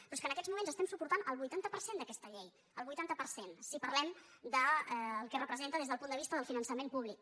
però és que en aquests mo·ments estem suportant el vuitanta per cent d’aquesta llei el vuitanta per cent si parlem del que representa des del punt de vista del finançament públic